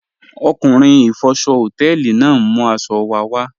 Ọkunrin ifọ̀ṣọ̀ họtẹlì naà n mú aṣọ̀ wà wà